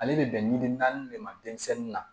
Ale bɛ bɛn ni naani de ma denmisɛnnin na